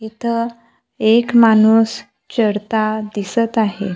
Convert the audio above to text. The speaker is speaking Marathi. इथं एक माणूस चढता दिसत आहे.